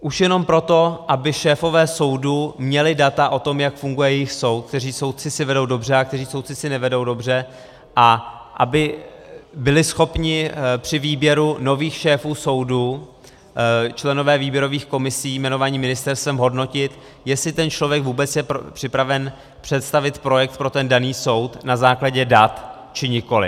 Už jenom proto, aby šéfové soudů měli data o tom, jak funguje jejich soud, kteří soudci si vedou dobře a kteří soudci si nevedou dobře, a aby byli schopni při výběru nových šéfů soudu členové výběrových komisí jmenovaní ministerstvem hodnotit, jestli ten člověk vůbec je připraven představit projekt pro ten daný soud na základě dat či nikoliv.